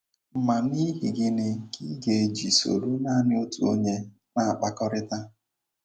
Ma n’ihi gịnị ka ị ga - eji soro nanị otu onye na - akpakọrịta?